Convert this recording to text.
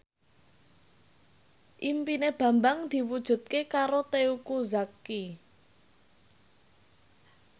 impine Bambang diwujudke karo Teuku Zacky